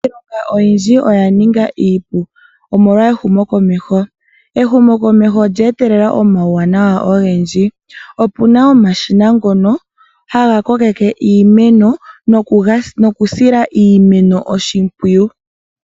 Iilonga oyindji oya ninga iipu omolwa ehumokomeho. Ehumokomeho olyee telela omauwanawa ogendji. Opuna omashina ngono haga kokeke iimeno nokusila iimeno oshimpwiyu.